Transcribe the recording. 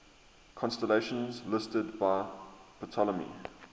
constellations listed by ptolemy